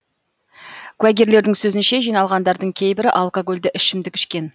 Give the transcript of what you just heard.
куәгерлердің сөзінше жиналғандардың кейбірі алкогольді ішімдік ішкен